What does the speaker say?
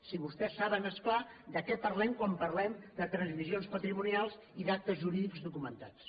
si vostès saben és clar de què parlem quan parlem de transmissions patrimonials i d’actes jurídics documentats